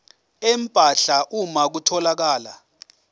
empahla uma kutholakala